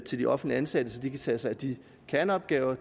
til de offentligt ansatte så de kan tage sig af de kerneopgaver